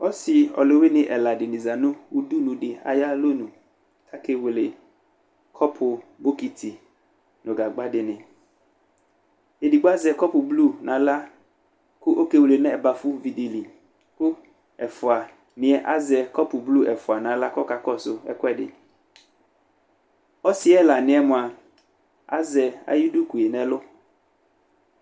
Ɔsɩ ɔlʋwɩnɩ ɛla dɩnɩ aza nʋ udunu dɩ ayalɔnu kʋ akewele kɔpʋ, bokiti nʋ gagba dɩnɩ Edigbo azɛ kɔpʋblu nʋ aɣla kʋ ɔkewele nʋ ɛbafʋvi dɩ li kʋ ɛfʋanɩ azɛ kɔpʋblu ɛfʋa nʋ aɣla kʋ ɔkakɔsʋ ɛkʋɛdɩ Ɔsɩ yɛ ɛlanɩ yɛ mʋa, azɛ ayʋ duku yɛ nʋ ɛlʋ